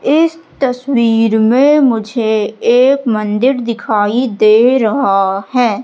इस तस्वीर में मुझे एक मंदिर दिखाई दे रहा हैं।